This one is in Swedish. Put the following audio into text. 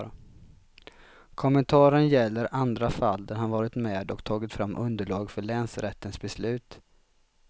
Kommentaren gäller andra fall där han varit med och tagit fram underlag för länsrättens beslut.